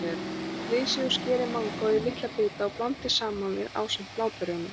Flysjið og skerið mangóið í litla bita og blandið saman við ásamt bláberjunum.